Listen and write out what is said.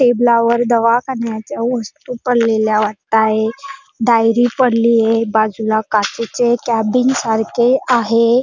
टेबला वर दवा कारन्याच्या वस्तू पडलेल्या वाटतंय डायरी पडलीय बाजुला काचेचे केबीन सारखे आहे.